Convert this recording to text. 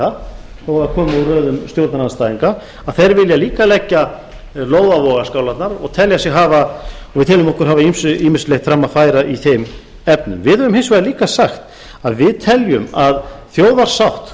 það komi úr röðum stjórnarandstæðinga að þeir vilja líka leggja lóð á vogarskálarnar og við teljum okkur hafa ýmislegt fram að færa í þeim efnum við höfum hins vegar líka sagt að við teljum að þjóðarsátt